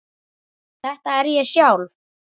Þetta er ég sjálf.